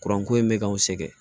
Kuran ko in bɛ k'anw sɛgɛn